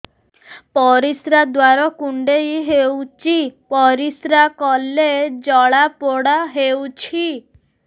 ପରିଶ୍ରା ଦ୍ୱାର କୁଣ୍ଡେଇ ହେଉଚି ପରିଶ୍ରା କଲେ ଜଳାପୋଡା ହେଉଛି